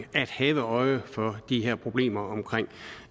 at have øje for de her problemer